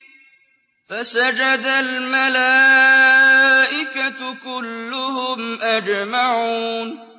فَسَجَدَ الْمَلَائِكَةُ كُلُّهُمْ أَجْمَعُونَ